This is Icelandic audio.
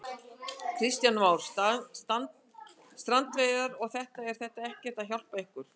Kristján Már: Strandveiðarnar og þetta, er þetta ekkert að hjálpa ykkur?